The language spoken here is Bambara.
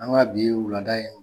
An ka bi wulada